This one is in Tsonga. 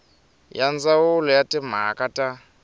ya ndzawulo ya timhaka ta